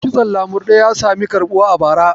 Kitson lamurɗe ya sami karɓuwa a bara.